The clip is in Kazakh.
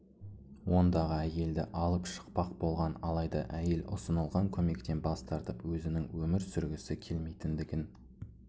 ондағы әйелді алып шықпақ болған алайда әйел ұсынылған көмектен бас тартып өзінің өмір сүргісі келмейтіндігін